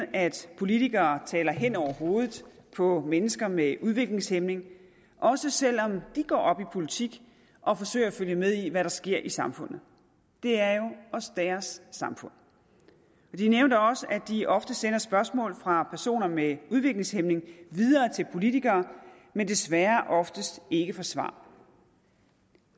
at politikere taler hen over hovedet på mennesker med udviklingshæmning også selv om de går op i politik og forsøger at følge med i hvad der sker i samfundet det er jo også deres samfund de nævnte også at de ofte sender spørgsmål fra personer med udviklingshæmning videre til politikere men desværre oftest ikke får svar